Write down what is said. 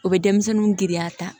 O bɛ denmisɛnninw giriya ta